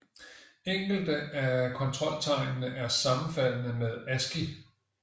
Enkelte af kontroltegnene er sammenfaldende med ASCII